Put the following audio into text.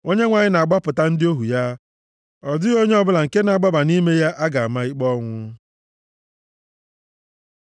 Onyenwe anyị na-agbapụta ndị ohu ya; ọ dịghị onye ọbụla nke na-agbaba nʼime ya a ga-ama ikpe ọnwụ.